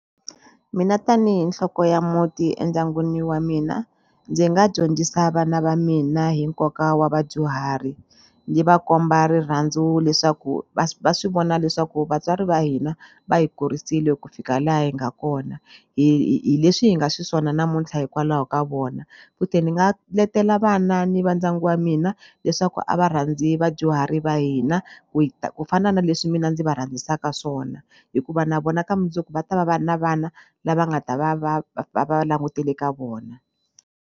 Mina tanihi nhloko ya muti endyangwini wa mina ndzi nga dyondzisa vana va mina hi nkoka wa vadyuhari ni va komba rirhandzu leswaku va va swi vona leswaku vatswari va hina va hi kurisile ku fika laha hi nga kona hi hi leswi hi nga xiswona namuntlha hikwalaho ka vona futhi ni nga letela vana ni va ndyangu wa mina leswaku a va rhandzi vadyuhari va hina ku hi ku fana na leswi mina ndzi va rhandzisaka swona hikuva na vona ka mundzuku va ta va va ri na vana lava nga ta va va va va langutele ka vona.